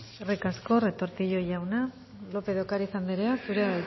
eskerrik asko retortillo jauna lópez de ocariz andrea zurea da hitza bueno